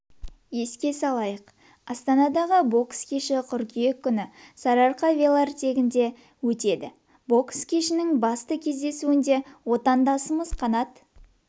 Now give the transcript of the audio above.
еске салайық астанадағы бокс кеші қыркүйек күні сарыарқа велотрегінде өтеді бокс кешінің басты кездесуінде отандасымыз қанат